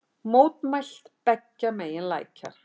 Mótmælt beggja megin lækjar